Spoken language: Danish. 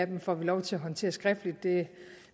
vi får lov til at håndtere skriftligt det